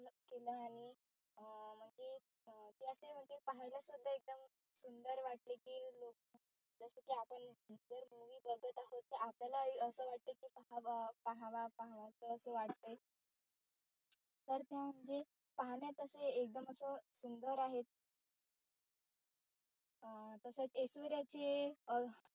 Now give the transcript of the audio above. असं वाटत काही पाहावा पाहावा असं असं वाट्टय तर त्या म्हणजे पाहण्यात असे एकदम असं सुंदर आहेत अं तसच एश्वरीचे अं